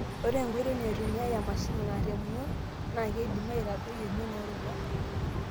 Ore enkoitoi naitumiyai emashini naar emion naa keidim aitadoi emion oorubat.